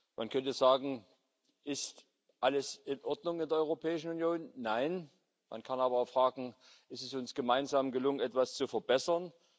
Man könnte fragen Ist alles in Ordnung in der Europäischen Union? Nein. Man kann aber auch fragen Ist es uns gemeinsam gelungen, etwas zu verbessern?